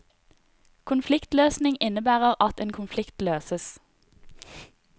Konfliktløsning innebærer at en konflikt løses.